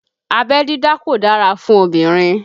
Abẹ́ dídá kò dára fún obìnrin